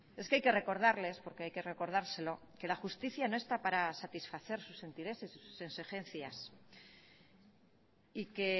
es que hay que recordarles porque hay que recordárselo que la justicia no está para satisfacer sus intereses y sus exigencias y que